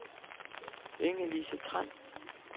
Inge-Lise Tran